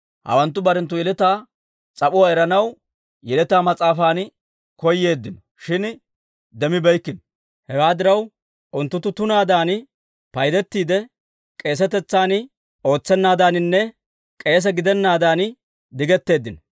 Hawanttu barenttu yeletaa s'ap'uwaa eranaw yeletaa mas'aafan koyeeddino, shin demmibeykkino. Hewaa diraw, unttunttu tunaadan paydettiide, k'eesetetsan ootsennaadaninne K'eese gidenaadan digetteeddino.